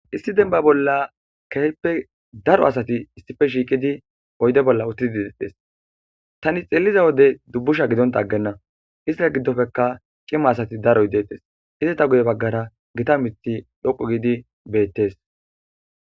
Isti denba bolla keheppe daro asati issife shiiqidi oyde bolla uttidi itettes tani xelliza wode dubbusha gidonta aggenna istira giddofekka cima asati daro hidettes isita guye baggara gita mithi dhoqu giidi beettes.